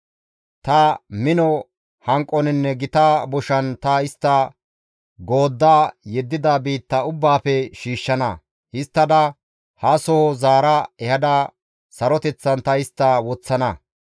«Ta mino hanqoninne gita boshan ta istta goodda yeddida biitta ubbaafe shiishshana; histtada hasoho zaara ehada saroteththan ta istta woththana.